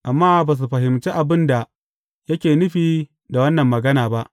Amma ba su fahimci abin da yake nufi da wannan magana ba.